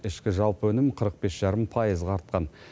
ішкі жалпы өнім қырық бес жарым пайызға артқан